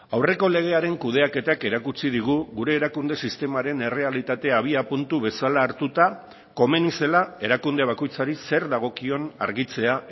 aurreko legearen kudeaketak erakutsi digu gure erakunde sistemaren errealitatea abiapuntu bezala hartuta komeni zela erakunde bakoitzari zer dagokion argitzea